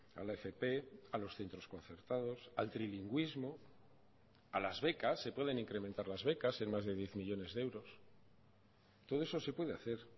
a la fp a los centros concertados al trilingüismo a las becas se pueden incrementar las becas en más de diez millónes de euros todo eso se puede hacer